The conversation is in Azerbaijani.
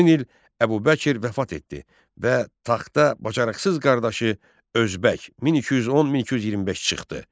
Həmin il Əbubəkr vəfat etdi və taxta bacarıqsız qardaşı Özbək 1210-1225 çıxdı.